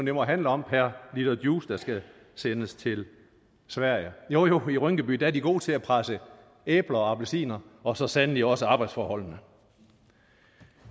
jo må handle om per liter juice der skal sendes til sverige jo jo i rynkeby er de gode til at presse æbler og appelsiner og så sandelig også arbejdsforholdene